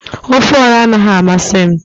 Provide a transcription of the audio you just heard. ofe oha anaghị amasị m